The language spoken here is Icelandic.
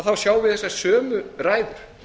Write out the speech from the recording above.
þá sjáum við þessar sömu ræður